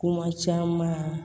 Kuma caman